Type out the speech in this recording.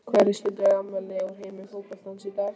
Hverjir skyldu eiga afmæli úr heimi fótboltans í dag?